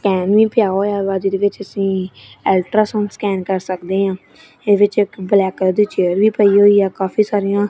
scan ਵੀ ਪਿਆ ਹੋਇਆ ਵਾਹ ਜਿਹਦੇ ਵਿੱਚ ਅੱਸੀ ਅਲਟਰਾਸਾਊਂਡ ਸਕੈਨ ਕਰ ਸਕਦੇ ਹਾਂ ਇਹਦੇ ਵਿੱਚ ਇੱਕ ਬਲੈਕ ਕਲਰ ਦੀ ਚੇਅਰ ਵੀ ਪਈ ਹੋਇਆ ਕਾਫੀ ਸਾਰਿਆਂ--